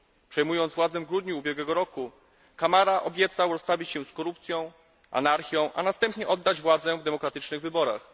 Przejmując władzę w grudniu ubiegłego roku Camara obiecał rozprawić się z korupcją, anarchią, a następnie oddać władzę w demokratycznych wyborach.